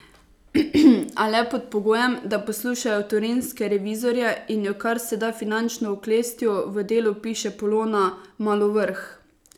A le pod pogojem, da poslušajo torinske revizorje in jo kar se da finančno oklestijo, v Delu piše Polona Malovrh.